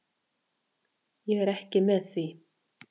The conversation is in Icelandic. Ég er ekki með því.